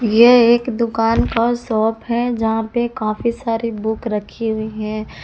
यह एक दुकान का शॉप है जहां पे काफी सारी बुक रखी हैं।